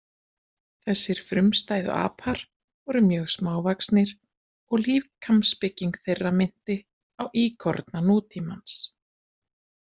Þessir frumstæðu apar voru mjög smávaxnir og líkamsbygging þeirra minnti á íkorna nútímans.